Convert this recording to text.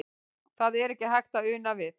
Það er ekki hægt að una við.